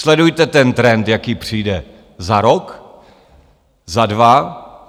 Sledujte ten trend, jaký přijde za rok, za dva.